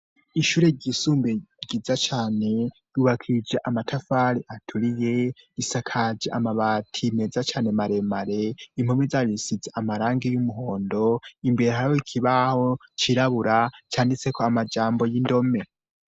Ishure ryisumbuye ryiza cane ryubakishije amatafari aturiye, risakaje amabati meza cane maremare, impome zaryo risize amarangi y'umuhondo, imbere hariho ikibaho cirabura canditseko amajambo y'indome.